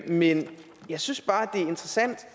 men jeg synes bare det er interessant